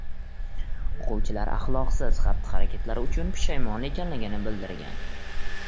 O‘quvchilar axloqsiz xatti-harakatlari uchun pushaymon ekanligini bildirgan.